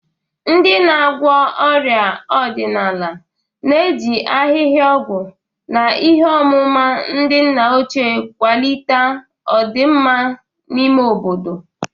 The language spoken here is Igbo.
Ndị na-agwọ ọrịa ọdịnala na-eji ahịhịa ọgwụ na ihe ọmụma ndị nna ochie kwalite ọdịmma n'ime obodo.